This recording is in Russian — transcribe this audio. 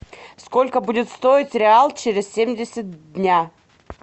сколько будет стоить реал через семьдесят дня